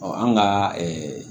an ka